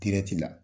dirɛti la